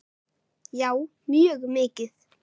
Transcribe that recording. Já, mjög mikið.